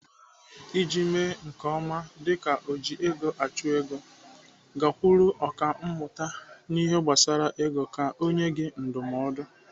Iji mee nke ọma dịka ojiegoachụego, gakwuru ọkàmmụta n'ihe gbasara ego ka ọ nyee gị ndụmọdụ.